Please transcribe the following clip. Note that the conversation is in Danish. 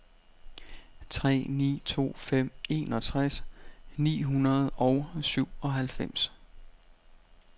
tre ni to fem enogtres ni hundrede og syvoghalvfems